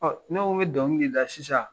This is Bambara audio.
Ɔ ne ko n be dɔnkili la sisan